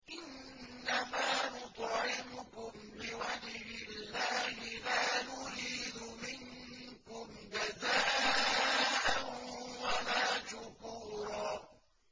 إِنَّمَا نُطْعِمُكُمْ لِوَجْهِ اللَّهِ لَا نُرِيدُ مِنكُمْ جَزَاءً وَلَا شُكُورًا